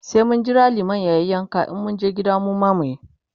sai mun Jira liman yayi yanka in mun je gida mu ma muyi.